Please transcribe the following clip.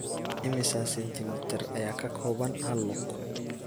Immisa senti mitir ayaa ka kooban hal lug?